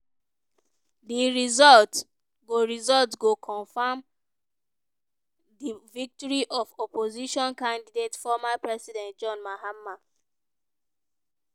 di result go result go confam di victory of opposition candidate former president john mahama.